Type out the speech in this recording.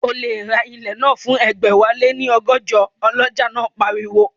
O lè ra ilẹ̀ náà fún ẹgbẹ̀wáléní ọgọ́jọ, ọlọ́jà náà pariwo